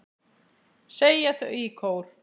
segja þau í kór.